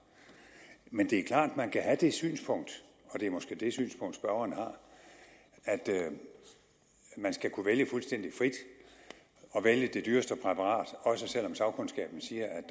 men det er klart at man kan have det synspunkt og det er måske det synspunkt spørgeren har at der skal kunne vælges fuldstændig frit og vælges det dyreste præparat også selv om sagkundskaben siger